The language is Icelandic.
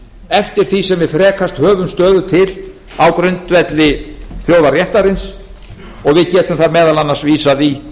eftir því sem við frekast höfum stöðu til á grundvelli þjóðarréttarins og við getum þar meðal annars vísað í